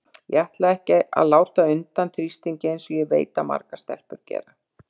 Ég ætla ekki að láta undan þrýstingi eins og ég veit að margar stelpur gera.